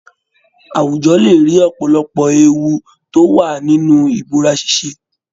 Àwùjọ lé rí ọ̀pọ̀lọpọ̀ ewu tó wà nínú ìbúra ṣíṣe